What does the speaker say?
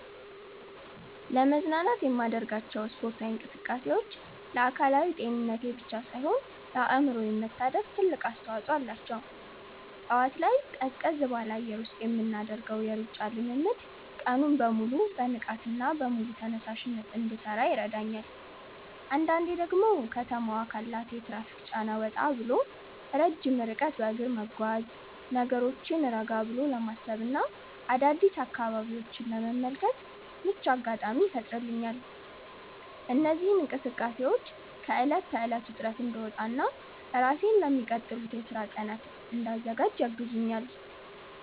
ለመዝናናት የማደርጋቸው ስፖርታዊ እንቅስቃሴዎች ለአካላዊ ጤንነቴ ብቻ ሳይሆን ለአእምሮዬ መታደስም ትልቅ አስተዋጽኦ አላቸው። ጠዋት ላይ ቀዝቀዝ ባለ አየር ውስጥ የምናደርገው የሩጫ ልምምድ ቀኑን በሙሉ በንቃትና በሙሉ ተነሳሽነት እንድሠራ ይረዳኛል። አንዳንዴ ደግሞ ከተማዋ ካላት የትራፊክ ጫና ወጣ ብሎ ረጅም ርቀት በእግር መጓዝ፣ ነገሮችን ረጋ ብሎ ለማሰብና አዳዲስ አካባቢዎችን ለመመልከት ምቹ አጋጣሚ ይፈጥርልኛል። እነዚህ እንቅስቃሴዎች ከዕለት ተዕለት ውጥረት እንድወጣና ራሴን ለሚቀጥሉት የሥራ ቀናት እንድዘጋጅ ያግዙኛል።